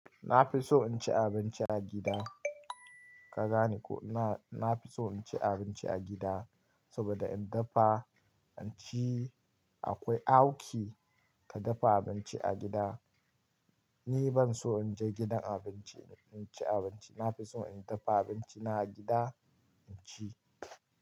Na fi so in ci abinci a gida. Ka gane ko, na, na fi so in ci abinci a gida saboda in dafa, inci. Akwai auki ka dafa abinci a gida. Ni ban so in je gidan abinci, in ci abinci. Na fi so in dafa abinci na a gida, in ci.